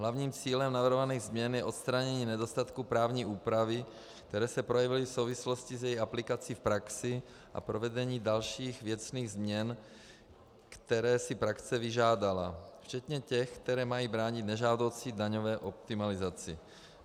Hlavním cílem navrhovaných změn je odstranění nedostatků právní úpravy, které se projevily v souvislosti s její aplikací v praxi, a provedení dalších věcných změn, které si praxe vyžádala, včetně těch, které mají bránit nežádoucí daňové optimalizaci.